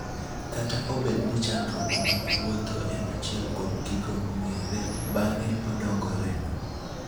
kata obed ni chandruok mag wuotho en achiel kuom gigo mong'ere , bang'e odongore